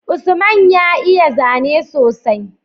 Usman ya iya zane sosai